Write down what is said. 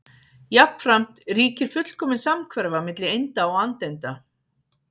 Jafnframt ríkir fullkomin samhverfa milli einda og andeinda.